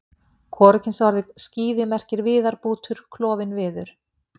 Hvorugkynsorðið skíði merkir viðarbútur, klofinn viður.